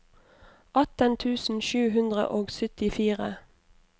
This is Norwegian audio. atten tusen sju hundre og syttifire